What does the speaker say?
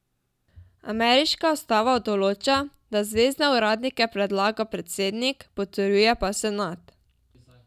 Ameriška ustava določa, da zvezne uradnike predlaga predsednik, potrjuje pa senat.